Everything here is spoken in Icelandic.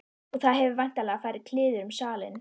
Og það hefur væntanlega farið kliður um salinn.